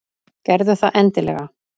Gerðu það endilega.